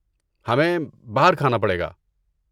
ہمیں باہر کھانا پڑے گا۔